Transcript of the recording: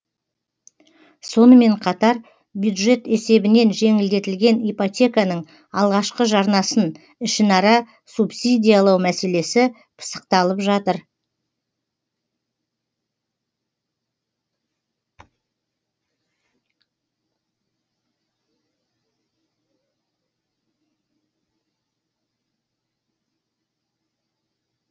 сонымен қатар бюджет есебінен жеңілдетілген ипотеканың алғашқы жарнасын ішінара субсидиялау мәселесі пысықталып жатыр